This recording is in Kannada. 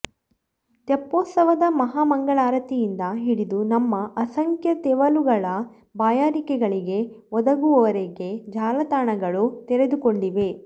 ತೆಪ್ಪೋತ್ಸವದ ಮಹಾಮಂಗಳಾರತಿಯಿಂದ ಹಿಡಿದು ನಮ್ಮ ಅಸಂಖ್ಯ ತೆವಲುಗಳ ಬಾಯಾರಿಕೆಗಳಿಗೆ ಒದಗುವವರೆಗೆ ಜಾಲತಾಣಗಳು ತೆರೆದುಕೊಂಡಿವೆ